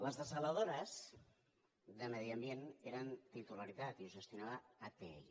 les dessaladores de medi ambient eren titularitat i les gestionava atll